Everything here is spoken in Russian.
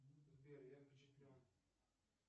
сбер я впечатлен